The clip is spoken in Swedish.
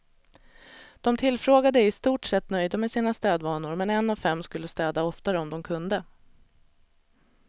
De tillfrågade är i stort sett nöjda med sina städvanor, men en av fem skulle städa oftare om de kunde.